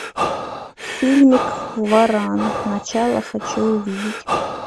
фильмик варан начало хочу увидеть